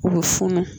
U bɛ funu